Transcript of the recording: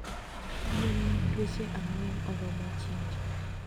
Gwen mag dweche angwen oromo chinjo